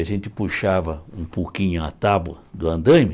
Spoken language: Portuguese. A gente puxava um pouquinho a tábua do andaime,